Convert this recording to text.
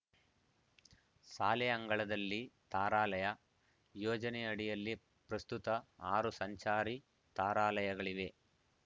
ಶಾಲೆ ಅಂಗಳದಲ್ಲಿ ತಾರಾಲಯ ಯೋಜನೆ ಅಡಿಯಲ್ಲಿ ಪ್ರಸ್ತುತ ಆರು ಸಂಚಾರಿ ತಾರಾಲಯಗಳಿವೆ